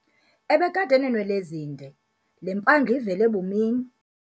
Ebekade eneenwele ezinde, le mpandla ivele bumini.